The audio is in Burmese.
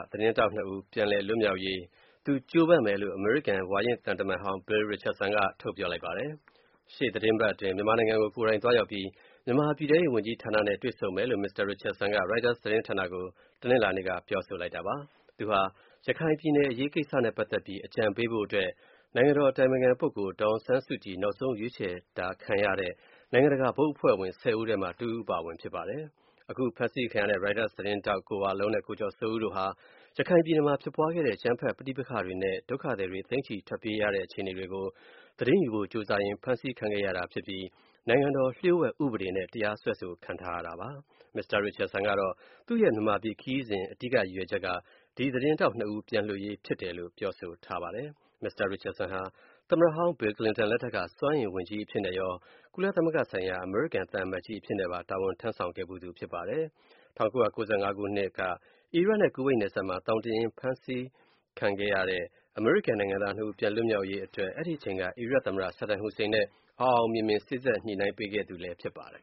သတင်းထောက်နှစ်ဦး ပြန်လည်လွတ်မြောက်ရေး သူ ကြိုးပမ်းမယ်လို့ အမေရိကန် ဝါရင့်သံတမန်ဟောင်း Bill Richardson က ပြောဆိုလိုက်ပါတယ်။ ရှေ့သီတင်းပတ်အတွင်း မြန်မာနိုင်ငံကို ကိုယ်တိုင် သွားရောက်ပြီး မြန်မာပြည်ထဲရေး ဝန်ကြီးဌာနနဲ့ တွေ့ဆုံမယ်လို့ မစ္စတာ Richardson က ရိုက်တာသတင်းဌာနကို တနင်္လာနေ့က ပြောဆိုလိုက်တာပါ။ သူဟာ ရခိုင်ပြည်နယ် အရေးကိစ္စနဲ့ပတ်သက်ပြီး အကြံပေးဖို့အတွက် မြန်မာခေါင်ဆောင်း ဒေါ်အောင်ဆန်းစုကြည် ရွေးချယ်တာခံရတဲ့ နိုင်ငံတကာ ဘုတ်အဖွဲ့ဝင် ၁၀ ဦးထဲမှာ တဦးအပါအဝင် ဖြစ်တယ်လို့ ပြောပါတယ်။ အခုဖမ်းဆီးခံရတဲ့ ရိုက်တာသတင်းထောက် ကိုဝလုံးနဲ့ ကိုကျော်စိုးဦး တို့ဟာ ရခိုင်ပြည်နယ်မှာ ဖြစ်ပွားခဲ့တဲ့ အကြမ်းဖက် ပဋိပက္ခတွေနဲ့ ဒုက္ခသည်တွေ သိန်းနဲ့ချီ ထွက်ပြေးခဲ့ရတဲ့ အခြေအနေတွေကို သတင်းရယူဖို့ ကြိုးစားရင်း ဖမ်းဆီးခံခဲ့ရတာဖြစ်ပြီး နိုင်ငံတော်လျှို့ဝှက်ဥပဒေနဲ့ တရားစွဲဆိုခံထားရတာဖြစ်ပါတယ်။ မစ္စတာ Richardson ကတော့ သူ့ရဲ့ မြန်မာပြည်ခရီးစဉ် ရည်ရွယ်ချက်ဟာ ဒီသတင်းထောက်နှစ်ဦး ပြန်လွှတ်ရေးအတွက် အဓိက ဖြစ်တယ်လို့ ပြောဆိုထားပါတယ်။ မစ္စတာ Richardson ဟာ သမ္မတဟောင်း ဘီကလင်တန်လက်ထက်က စွမ်းအင်ဝန်ကြီးအဖြစ်နဲ့ရော၊ ကုလသမဂ္ဂဆိုင်ရာ အမေရိကန်သံအမတ်ကြီး အဖြစ်နဲ့ပါ တာဝန်ထမ်းဆောင်ခဲ့ဖူးသူ ဖြစ်ပါတယ်။ ၁၉၉၅ ခုနှစ်က အီရတ်နဲ့ ကူဝိတ်နယ်စပ်မှာ သောင်တင်ရင်း ဖမ်းဆီးခံခဲ့ရတဲ့ အမေရိကန် နိုင်ငံသားနှစ်ဦး ပြန်လည် လွတ်မြောက်ရေးအတွက် အဲဒီအချိန်က အီရတ်သမ္မတ Saddam Hussein နဲ့ အောင်အောင်မြင်မြင် စေ့စပ်ညှိနှိုင်း ခဲ့သူလည်း ဖြစ်ပါတယ်